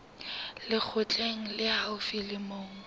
lekgotleng le haufi le moo